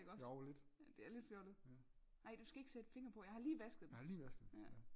Jo lidt ja jeg har lige vasket dem ja